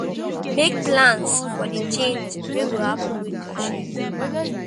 Make plans for di change wey go happen with your schedule